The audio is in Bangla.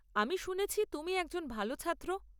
আমি শুনেছি তুমি একজন ভাল ছাত্র।